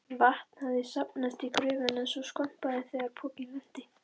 Vatn hafði safnast í gröfina svo skvampaði þegar pokinn lenti.